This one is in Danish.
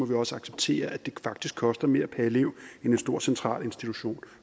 vi også acceptere at det faktisk koster mere per elev end en stor central institution